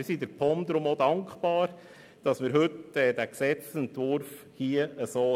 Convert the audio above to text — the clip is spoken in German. Wir sind der POM denn auch dankbar, dass heute dieser Gesetzesentwurf vorliegt.